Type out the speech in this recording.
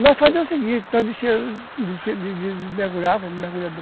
Nós fazíamos o seguinte, nós descíamos, mergulhávamos,